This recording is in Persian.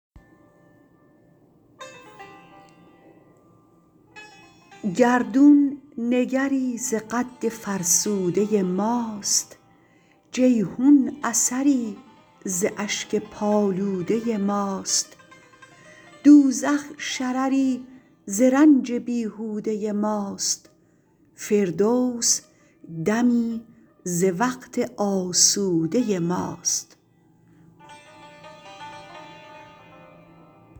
گردون نگری ز قد فرسوده ماست جیحون اثری ز اشک پالوده ماست دوزخ شرری ز رنج بیهوده ماست فردوس دمی ز وقت آسوده ماست